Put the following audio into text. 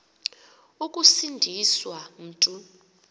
ukusindi swa mntu